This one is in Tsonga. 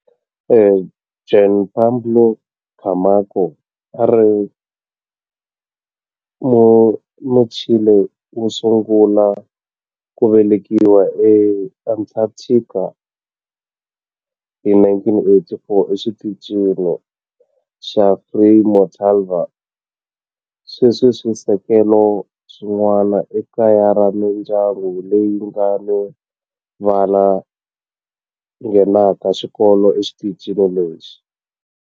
Juan Pablo Camacho a a ri Muchile wo sungula ku velekiwa eAntarctica hi 1984 eXitichini xa Frei Montalva. Sweswi swisekelo swin'wana i kaya ra mindyangu leyi nga ni vana lava nghenaka xikolo exitichini lexi.